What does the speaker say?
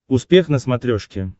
успех на смотрешке